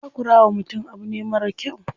Takura wa mutum abu ne marar kyau.